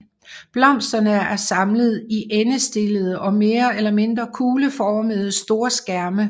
Blomsterne er samlet i endestillede og mere eller mindre kugleformede storskærme